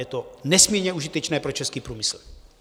Je to nesmírně užitečné pro český průmysl.